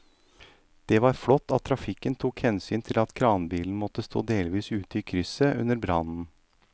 Det var flott at trafikken tok hensyn til at kranbilen måtte stå delvis ute i krysset under brannen.